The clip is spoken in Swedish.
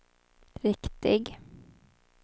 riktig